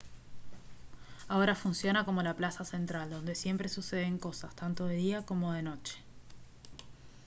ahora funciona como la plaza central donde siempre suceden cosas tanto de día como de noche